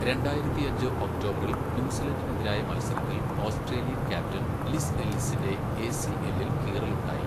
രണ്ടായിരത്തിയഞ്ച് ഒക്ടോബറിൽ ന്യൂസിലൻഡിനെതിരായ മത്സരത്തിൽ ഓസ്ട്രേലിയൻ ക്യാപ്റ്റൻ ലിസ് എല്ലിസിൻ്റെ എസിഎല്ലിൽ കീറലുണ്ടായി.